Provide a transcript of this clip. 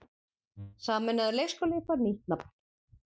Sameinaður leikskóli fær nýtt nafn